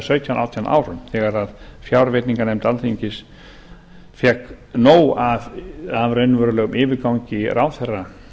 sautján til átján árum þegar fjárveitinganefnd alþingis fékk nóg af raunverulegum yfirgangi ráðherra